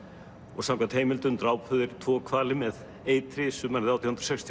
og samkvæmt heimildum drápu þeir tvo hvali með eitri sumarið átján hundruð